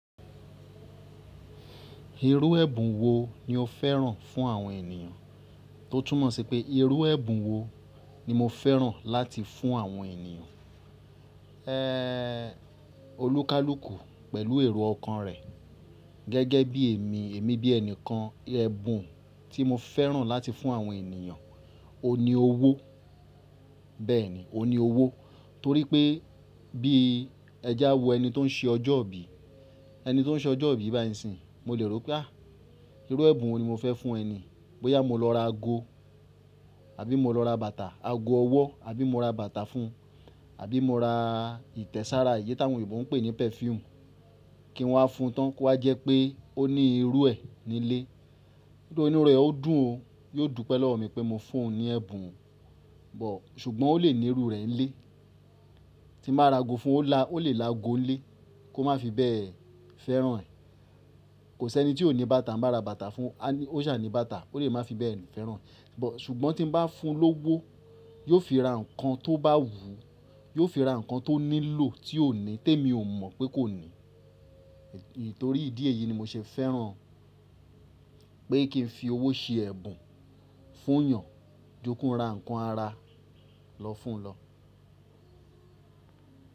Irú ẹ̀bùn wo ni o fẹ́ràn fún àwọn ènìyàn? To tú mọ̀ sí pé irú ẹ̀bùn wo ni mo fẹ́ràn láti fún àwọn ènìyàn. Ẹh, olúkálùkù pẹ̀lú èrò ọkàn rẹ̀ gẹ́gẹ́ bí èmi, èmi bí ẹnìkan, ẹ̀bùn tí mo fẹ́ràn láti fún àwọn ènìyàn, òun ni owó. Bẹ́ẹ̀ni, òun ní owó torí pé bíi ẹ jáwo ẹni tó ń ṣe ọjọ́ ìbí, ẹni tó ń ṣe ọjọ́ ìbí báyìí ńsin ìí, mo lè rò pé à, irú ẹ̀bùn wo ni mo fẹ́ fún ẹni í? Bóyá mo lọ ra ago, àbí mo lọ ra bàtà, ago ọwọ́, àbí mo ra bàtà fún un, àbí mo ra ìtẹ̀sára, èyí tàwọn òyìnbó ń pè ní perfume, kí n wá fún un tán kí ó wá jẹ́ pé ó ní irú ẹ nílé. Nítorí inú ẹ ó dùn o, yóò dúpẹ́ lọ́wọ́ mi pé mo fún un ní ẹ̀bùn, but ṣùgbọ́n ó lè ní irú rẹ̀ nílé. Tí n bá ra ago fún un ó lè láago ń lé, kó má fi bẹ́ẹ̀ fẹ́ràn ẹ̀. Kò sẹ́ni tí ò ní bàtà, tí n bá ra bàtà fún un, á ní ó ṣáà ní bàtà, ó lè má fi bẹ́ẹ̀ fẹ́ràn ẹ̀. But ṣùgbọ́n tí n bá fún un lówó, yóò fi ra nǹkan tó bá wù ú, yóò fi ra nǹkan tó nílò tí ó ní témi ò mọ̀ pé kó ní. Nítorí ìdí èyí ni mo ṣe fẹ́ràn pé kí n fi owó ṣe ẹ̀bùn fún ùnyàn, jukúnun ra ǹkan ara lọ fún un lọ.